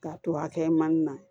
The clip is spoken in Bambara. K'a to a kɛ man di na